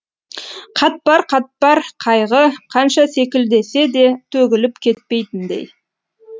қатпар қатпар қайғы қанша селкілдесе де төгіліп кетпейтіндей